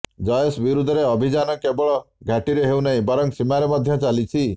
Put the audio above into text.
ଜୈଶ ବିରୋଧରେ ଅଭିଯାନ କେବଳ ଘାଟିରେ ହେଉ ନାହିଁ ବରଂ ସୀମାରେ ମଧ୍ୟ ଚାଲିଛି